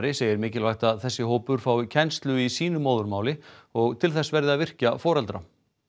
segir mikilvægt að þessi hópur fái kennslu í sínu móðurmáli og til þess verði að virkja foreldra